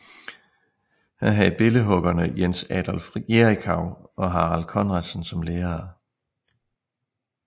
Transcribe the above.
Han havde billedhuggerne Jens Adolf Jerichau og Harald Conradsen som lærere